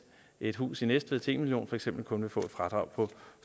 et hus i næstved til en million kroner for eksempel kun vil få et fradrag på